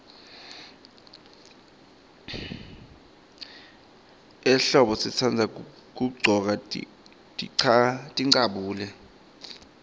ehlombo sitandza kuggcoka tincabule